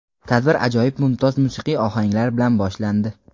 Tadbir ajoyib mumtoz musiqiy ohanglar bilan boshlandi.